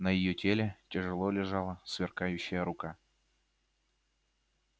на её теле тяжело лежала сверкающая рука